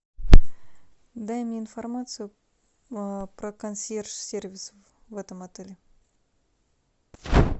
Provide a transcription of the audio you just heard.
дай мне информацию про консьерж сервис в этом отеле